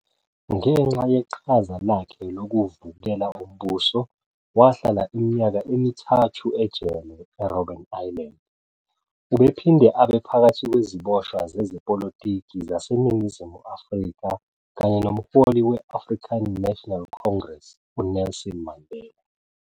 Ngenxa yeqhaza lakhe lokuvukela umbuso, wahlala iminyaka emithathu ejele eRobben Island. Ubephinde abe phakathi kweziboshwa sezepolitiki zaseNingizimu Afrika kanye nomholi we-African National Congress uNelson Mandela.